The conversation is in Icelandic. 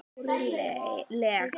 Stjórn LEK